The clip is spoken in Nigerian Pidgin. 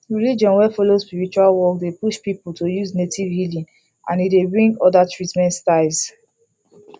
religion wey follow spiritual work dey push people to use native healing and e dey bring other treatment styles